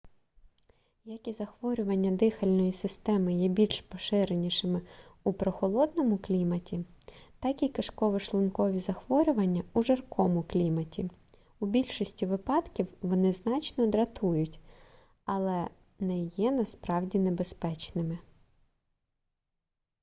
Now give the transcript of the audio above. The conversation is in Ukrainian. як і захворювання дихальної системи є більш поширеними у прохолодному кліматі так і кишково-шлункові захворювання у жаркому кліматі у більшості випадків вони значно дратують але не є насправді небезпечними